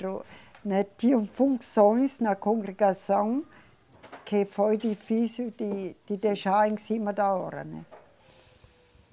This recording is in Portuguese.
Né, tinha funções na congregação que foi difícil de, de deixar em cima da hora, né.